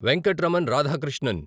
Venkatraman Radhakrishnan